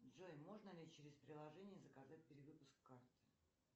джой можно ли через приложение заказать перевыпуск карты